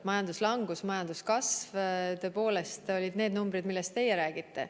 Majanduslangus, majanduskasv tõepoolest olid need numbrid, millest teie räägite.